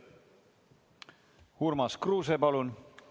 Urmas Kruuse, palun!